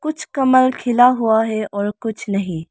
कुछ कमल खिला हुआ है और कुछ नहीं।